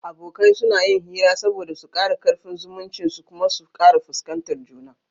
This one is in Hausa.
Abokai suna yin hira saboda su kara karfin zumuncin su kuma su kara fuskantar juna